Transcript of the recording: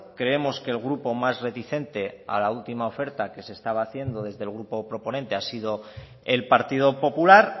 creemos que el grupo más reticente a la última oferta que se estaba haciendo desde el grupo proponente ha sido el partido popular